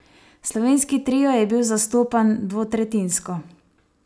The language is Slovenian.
Slovenski trio je bil zastopan dvotretjinsko.